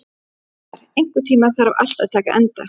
Rafnar, einhvern tímann þarf allt að taka enda.